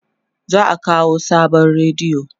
za'a kawo sabon rediyo